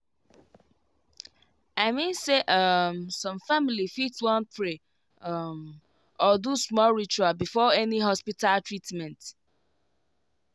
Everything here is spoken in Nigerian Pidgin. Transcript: i mean say um some family fit wan pray um or do small ritual before any hospita treatment